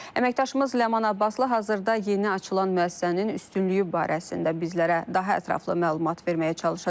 Əməkdaşımız Ləman Abbaslı hazırda yeni açılan müəssisənin üstünlüyü barəsində bizlərə daha ətraflı məlumat verməyə çalışacaq.